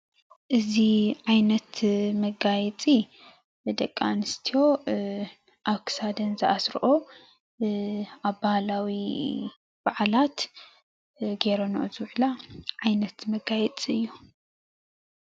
እዚ ዓይነት መጋየፂ ንደቂ ኣንስትዮ ኣብ ክሳደን ዝኣስረኦ ኣብ ባህላዊ በዓላት ገይረንኦ ዝውዕላ ዓይነት መጋየፂ እዩ።